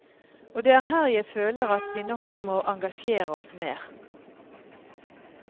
Og det er her jeg føler at vi nok må engasjere oss mer.